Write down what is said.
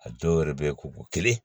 A dɔw yɛrɛ bɛ ye k'u bɔ kelen